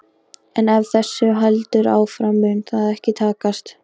En ef þessu heldur áfram mun það ekki takast.